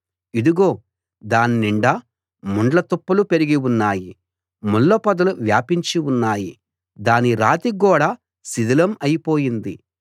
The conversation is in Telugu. ఇదిగో దాన్నిండా ముండ్ల తుప్పలు పెరిగి ఉన్నాయి ముళ్ళపొదలు వ్యాపించి ఉన్నాయి దాని రాతి గోడ శిథిలం అయి పోయింది